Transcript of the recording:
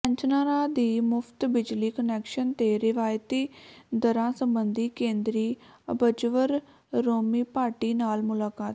ਪੈਨਸ਼ਨਰਾਂ ਦੀ ਮੁਫ਼ਤ ਬਿਜਲੀ ਕੁਨੈਕਸ਼ਨ ਤੇ ਰਿਆਇਤੀ ਦਰਾਂ ਸਬੰਧੀ ਕੇਂਦਰੀ ਅਬਜ਼ਵਰ ਰੋਮੀ ਭਾਟੀ ਨਾਲ ਮੁਲਾਕਾਤ